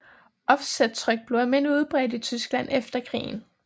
Offsettryk blev almindelig udbredt i Tyskland efter krigen